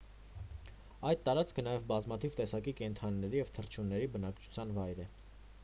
այդ տարածքը նաև բազմաթիվ տեսակի կենդանիների և թռչունների բնակության վայրն է